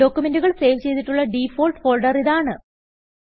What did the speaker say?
ഡോക്യുമെന്റുകൾ save ചെയ്തിട്ടുള്ള default ഫോൾഡറിതാണ്